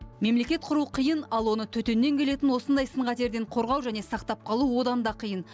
мемлекет құру қиын ал оны төтеннен келетін осындай сын қатерден қорғау және сақтап қалу одан да қиын